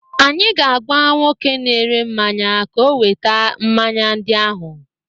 Anyị ga-agwa nwoke na-ere mmanya ka oweta mmanya ndị ahụ.